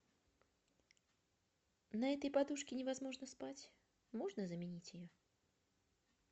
на этой подушке невозможно спать можно заменить ее